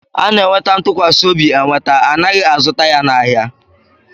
A na-enweta ntụkwasị obi enweta, anaghị azụta ya n'ahia